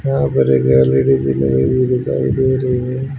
यहां पर एक गैलरी दिखाई दे रही है।